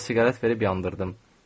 Əlinə siqaret verib yandırdım.